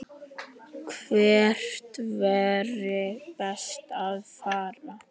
Hvert væri best að fara?